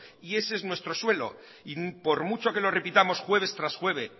ese es nuestro suelo y por mucho que lo repitamos jueves tras jueves